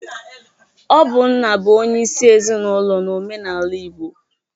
Ọ bụ nna bụ onyeisi ezinaụlọ n'omenaala Igbo.